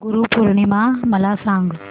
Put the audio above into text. गुरु पौर्णिमा मला सांग